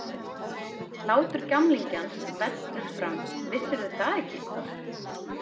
Hlátur gamlingjans vellur fram Vissirðu það ekki?